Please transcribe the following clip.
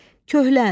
Kəhlən.